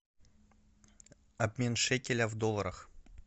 обмен шекеля в долларах